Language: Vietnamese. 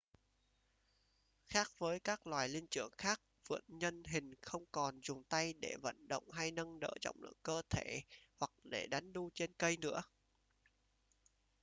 khác với các loài linh trưởng khác vượn nhân hình không còn dùng tay để vận động hay nâng đỡ trọng lượng cơ thể hoặc để đánh đu trên cây nữa